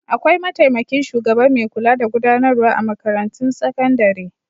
Akwai mataimakin shugaba mai kula da gudanarwa a makarantun sakandare.